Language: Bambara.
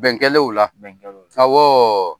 Bɛn kɛlen o la, bɛn kɛlen o la